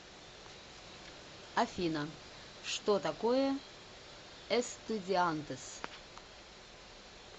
афина что такое эстудиантес